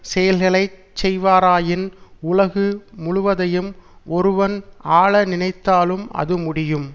செயல்களை செய்வாராயின் உலகு முழுவதையும் ஒருவன் ஆள நினைத்தாலும் அது முடியும்